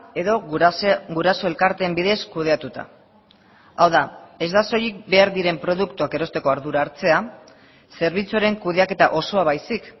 edo guraso elkarteen bidez kudeatuta hau da ez da soilik behar diren produktuak erosteko ardura hartzea zerbitzuaren kudeaketa osoa baizik